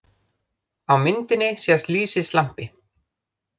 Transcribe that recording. Á myndinni sést lýsislampi.